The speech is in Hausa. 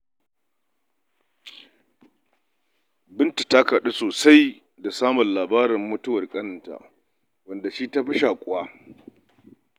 Binta ta kaɗu sosai da samun labarin mutuwar ƙaninta, wanda da shi ta fi shaƙuwa.